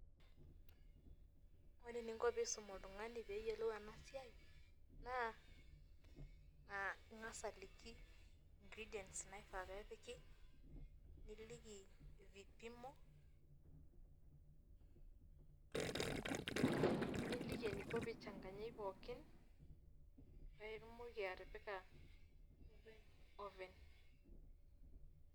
Ore eninko pisum oltung'ani peyiolou enasiai, naa ing'asa aliki ingredients naifaa niliki vipimo, niliki eniko peichanganyai pookin, paitumoki atipika openy.